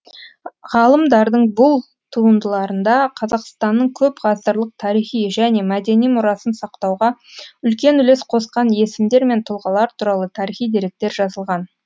ғалымдардың бұл туындыларында қазақстанның көпғасырлық тарихи және мәдени мұрасын сақтауға үлкен үлес қосқан есімдер мен тұлғалар туралы тарихи деректер жазылған